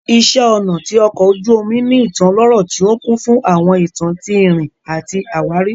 Iṣẹ́ ọnà ti ọkò ojú omu ní ìtàn ọlọ́rọ̀ tí ó kún fún àwọn ìtàn tí ìrìn àti àwárí